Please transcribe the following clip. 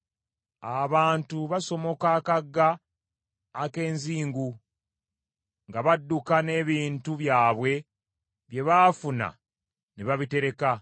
Abantu basomoka akagga ak’enzingu nga badduka n’ebintu byabwe bye baafuna ne babitereka.